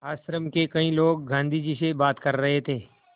आश्रम के कई लोग गाँधी जी से बात कर रहे थे